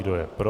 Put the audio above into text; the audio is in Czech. Kdo je pro?